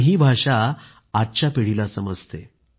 ही भाषा आजच्या पिढीला समजते